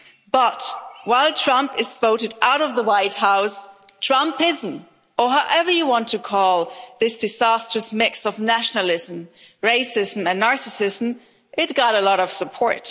But, while Trump is voted out of the White House, Trumpism or whatever you want to call this disastrous mix of nationalism, racism, and narcissism got a lot of support.